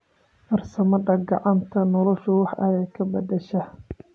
Farsamada kacanta noloshu wax aya kabadasha.